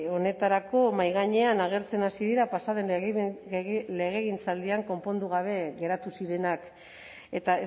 honetarako mahai gainean agertzen hasi dira pasa den legegintzaldian konpondu gabe geratu zirenak eta